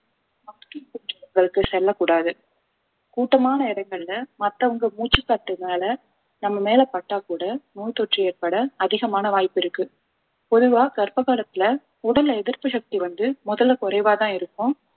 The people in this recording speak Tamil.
செல்லக்கூடாது கூட்டமான இடங்கள்ல மத்தவங்க மூச்சு காத்துனால நம்ம மேல பட்டா கூட நோய் தொற்று ஏற்பட அதிகமான வாய்ப்பிருக்கு பொதுவா கர்ப்ப காலத்துல உடல்ல எதிர்ப்பு சக்தி வந்து முதல்ல குறைவாதான் இருக்கும்